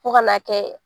Fo ka n'a kɛ